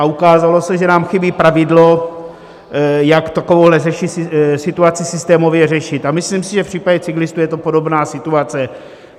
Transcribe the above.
A ukázalo se, že nám chybí pravidlo, jak takovouhle situaci systémově řešit, a myslím si, že v případě cyklistů je to podobná situace.